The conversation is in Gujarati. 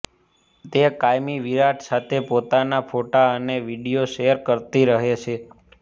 તે કાયમ વિરાટ સાથે પોતાના ફોટો અને વીડિયો શેર કરતી રહે છે